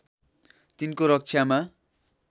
तिनको रक्षामा